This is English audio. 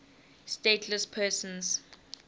stateless persons